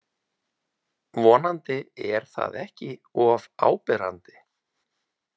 Vonandi er það ekki of áberandi.